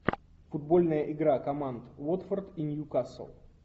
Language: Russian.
футбольная игра команд уотфорд и ньюкасл